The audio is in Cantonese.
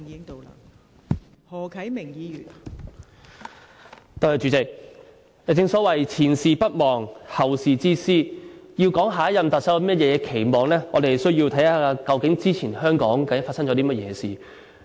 代理主席，正所謂"前事不忘，後事之師"，要說對下任特首有何期望，我們需要看看究竟香港之前發生過甚麼事。